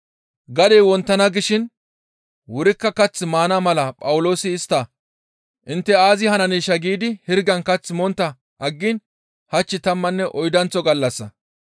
Gadey wonttana gishin wurikka kath maana mala Phawuloosi istta, «Intte aazi hananeeshaa giidi hirgan kath montta aggiin hach tammanne oydanththo gallassa.